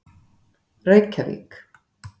Reykjavík